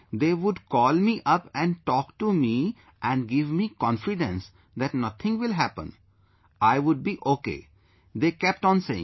They would call me up and talk to me and give me confidence that nothing will happen, I would be okay, they kept on saying